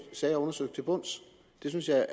sager undersøgt til bunds det synes jeg